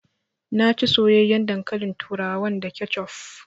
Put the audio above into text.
Na ci soyayyaen dankalin turawan da kecuf